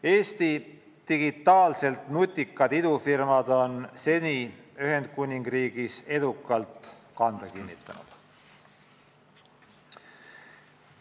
Eesti digitaalselt nutikad idufirmad on Ühendkuningriigis edukalt kanda kinnitanud.